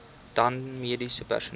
dan mediese personeel